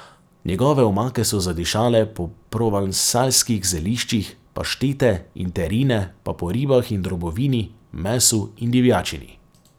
Njegove omake so zadišale po provansalskih zeliščih, paštete in terine pa po ribah in drobovini, mesu in divjačini.